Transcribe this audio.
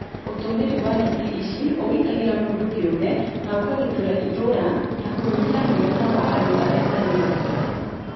Ũtũmĩri wa neti ici ũgitagĩra mũndũ kĩũmbe na ũkagitĩra itũra na kũnyihia mũigana wa andũ arĩa marĩ naguo